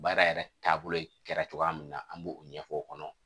Baara yɛrɛ taabolo kɛra cogoya min na an b'o ɲɛfɔ o kɔnɔ